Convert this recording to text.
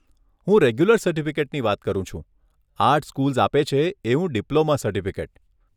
હું રેગ્યુલર સર્ટીફીકેટની વાત કરું છું, આર્ટ સ્કૂલ્સ આપે છે એવું ડિપ્લોમા સર્ટિફિકેટ.